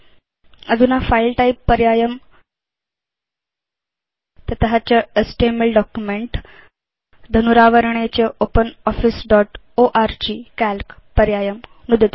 अधुना file type पर्यायं ततश्च एचटीएमएल डॉक्युमेंट धनुरावरणे च ओपनॉफिस दोत् ओर्ग काल्क पर्यायं नुदतु